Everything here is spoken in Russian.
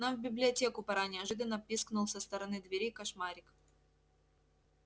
нам в библиотеку пора неожиданно пискнул со стороны двери кошмарик